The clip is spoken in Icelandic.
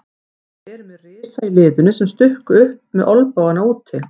Þeir eru með risa í liðinu sem stukku upp með olnbogana úti.